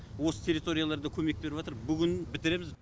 осы территорияларда көмек беріватыр бүгін бітіреміз